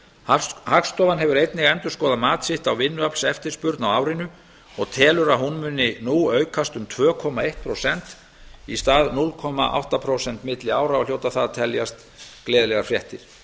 meiri hagstofan hefur einnig endurskoðað mat sitt á vinnuaflseftirspurn á árinu og telur að hún muni nú aukast um tvö komma eitt prósent í stað núll komma átta prósent milli ára og hljóta það að teljast gleðilegar fréttir þá